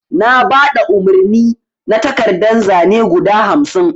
Na baɗa umarni na takardan zane guɗa hamsin.